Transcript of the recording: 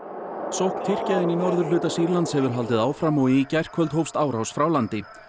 sókn Tyrkja inn í norðurhluta Sýrlands hefur haldið áfram og í gærkvöld hófst árás frá landi